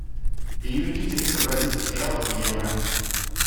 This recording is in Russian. переведи триста бразильских реалов в евро